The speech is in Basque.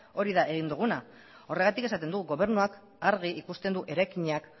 hori da egin duguna horregatik esaten dugu gobernuak argi ikusten du eraikinak